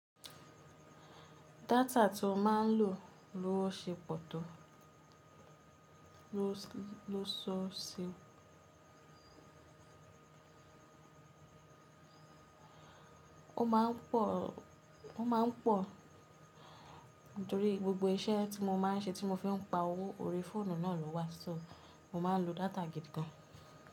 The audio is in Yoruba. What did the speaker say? Data tí ó máa ń lò lówó ṣe pọ̀ tó ló sọ́ọ̀sì, ó máa ń pò, torí gbogbo iṣẹ́ tí mo máa ń ṣe tí mo fi ń pa owó orí fóònù náà ló wà, só mo máa ń lo data gidi gan.